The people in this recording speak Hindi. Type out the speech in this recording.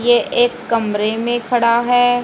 ये एक कमरे में खड़ा है।